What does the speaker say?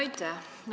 Aitäh!